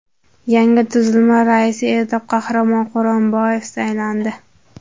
Yangi tuzilma raisi etib Qahramon Quronboyev saylandi .